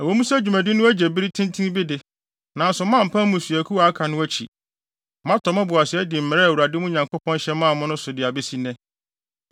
Ɛwɔ mu sɛ dwumadi no agye bere tenten bi de, nanso moampa mmusuakuw a aka no akyi. Moatɔ mo bo ase adi mmara a Awurade, mo Nyankopɔn hyɛ maa mo no so de abesi nnɛ.